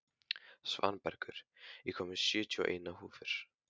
Svanbergur, ég kom með sjötíu og eina húfur!